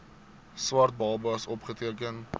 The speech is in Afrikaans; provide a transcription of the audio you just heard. swart babas opgeteken